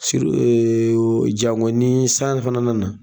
Siru jango nii san fana nana